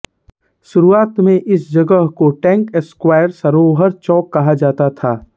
शुरुवात में इस जगह को टैंक स्क्वायर सरोवर चौक कहा जाता था